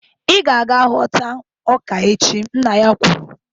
Ị ga-aga wọta ọka echi, nna ya kwuru